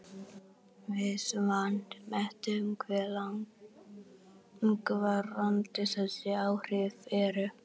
Við vanmetum hve langvarandi þessi áhrif eru.